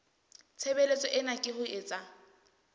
tshebeletso ena ke ho etsa